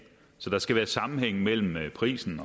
så der skal være sammenhæng mellem prisen